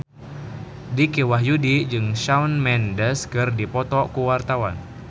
Dicky Wahyudi jeung Shawn Mendes keur dipoto ku wartawan